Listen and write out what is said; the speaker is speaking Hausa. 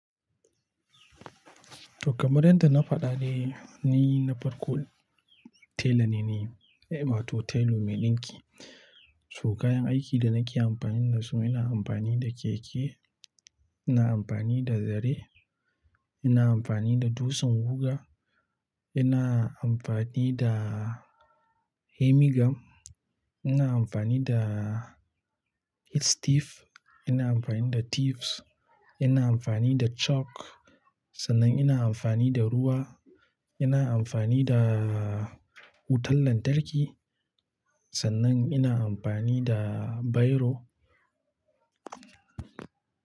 Kamar yadda na faɗa ne, ni na farko tela ne, wato tailu mai ɗinki. Su kayan aikin da nake amfani da su, ina amfani da keke, ina amfani da zare, ina amfani da dutsen guga, ina amfani da hemigam, ina amfani da heat stiff, ina amfani da thieves, ina amfani da chalk, sannan ina amfani da ruwa, ina amfani da wutan lantarki, sannan ina amfani da bairo.